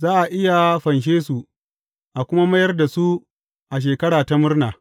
Za a iya fanshe su, a kuma mayar da su a Shekara ta Murna.